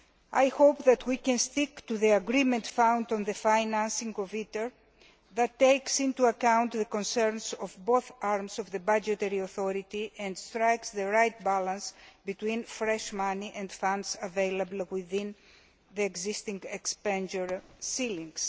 I hope that we can stick to the agreement found on the financing of ITER, which takes into account the concerns of both arms of the budgetary authority and strikes the right balance between fresh money and funds available within the existing expenditure ceilings.